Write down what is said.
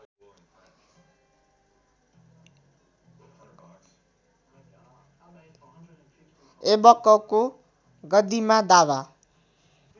ऐबकको गद्दीमा दावा